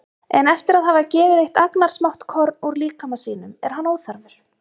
En eftir að hafa gefið eitt agnarsmátt korn úr líkama sínum er hann óþarfur.